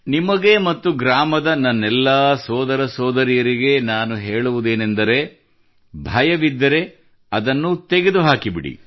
ನಿಮಗೆ ಮತ್ತು ಗ್ರಾಮದ ನನ್ನೆಲ್ಲಾ ಸೋದರಸೋದರಿಯರಿಗೆ ನಾನು ಹೇಳುವುದೇನೆಂದರೆ ಭಯವಿದ್ದರೆ ಅದನ್ನು ತೆಗೆದುಹಾಕಿಬಿಡಿ